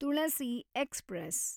Tulasi express